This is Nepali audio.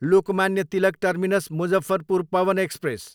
Lokmanya Tilak terminus, Muzaffarpur Pawan express